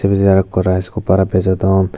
priz age aro rice cooker bejodon.